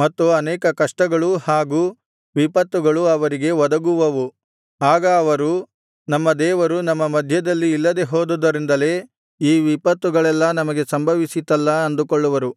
ಮತ್ತು ಅನೇಕ ಕಷ್ಟಗಳೂ ಹಾಗು ವಿಪತ್ತುಗಳೂ ಅವರಿಗೆ ಒದಗುವವು ಆಗ ಅವರು ನಮ್ಮ ದೇವರು ನಮ್ಮ ಮಧ್ಯದಲ್ಲಿ ಇಲ್ಲದೆ ಹೋದುದರಿಂದಲೇ ಈ ವಿಪತ್ತುಗಳೆಲ್ಲಾ ನಮಗೆ ಸಂಭವಿಸಿತ್ತಲ್ಲ ಅಂದುಕೊಳ್ಳುವರು